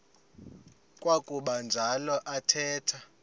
kwakuba njalo athetha